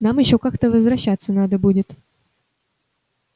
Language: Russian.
нам ещё как-то возвращаться надо будет